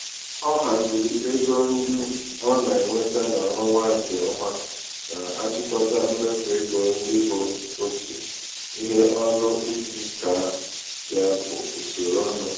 ọ haziri ego um ndị ọ um na-enweta n'ọnwa nke ọma na-achịkọta mmefu ego ndị bụ otu ihe ọnụ iji kaa ya bụ usoro ọnụ.